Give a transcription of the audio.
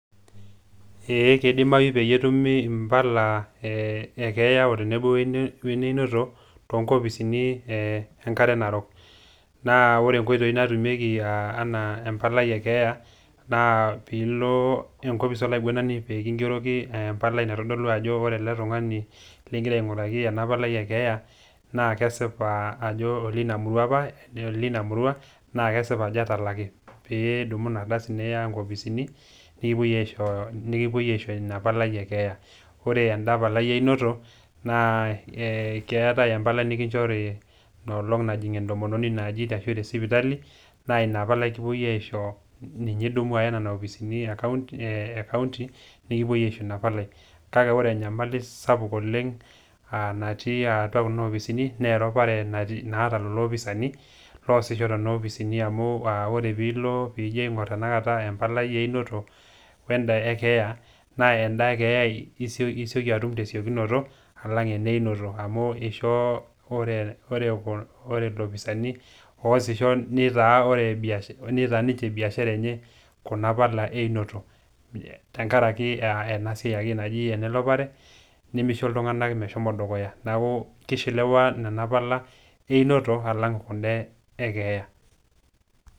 Ee, eikidimayu pee etumi Impala e keeya tenebo we eneinoto too inkopisini enkare Narok. Naa ore inkoitoi naatumieki anaa empalai e keeya, naa piilo enkopis olaiguanani pee kingeroki empalai naitodolu ajo ore ele tung'ani ling'ira aing'uraki ena Palai e keeya naa kesipa ajo oleina murua opa naa kesipa ajo etalaki , pee idumu Ina kardasi niya inkopisini nekipuoi aisho Ina Palai e keeya. Ore enda Palai e einoto naa keatai empalai nokinchori enkolong' najing' entomononi ino aji te sipitali naa Ina palai ekiwuo aisho, ninye idumu Aya nena kopisini e County nekipuoi aisho Ina palai. Kake ore enyamali sapuk oleng' natii atua Kuna kopisini naa eropare naata lelo looposani loo aasisho toonena opisini , amu ore pee ilo iyie tenakata aing'oru empalai e einoto weenda e keeya naa naa enda e keeya isioki atum te siokinoto alang' enda e einoto amu eisho ore iloopisaini oasisho neitaa ninche Ina biashara enye Kuna pala e einoto, tenkaraki ena siai naji enoropare, neisho iltung'ana meshomo dukuya, neaku keishelewa nena pala einoto alang' kunda e keeya.